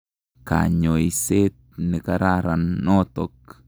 Kanyoiset ne kararan notok.